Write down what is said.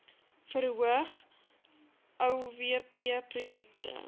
verhoog uowp projekte